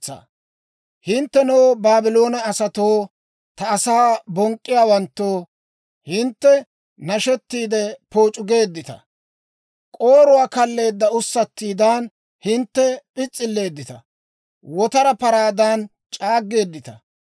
«Hinttenoo, Baabloone asatoo, ta asaa bonk'k'iyaawanttoo, hintte nashettiide, pooc'u geeddita. K'ooruwaa kalleedda ussattiidan, hintte p'is's'illeeddita; wotara paraadan c'aaggeeddita.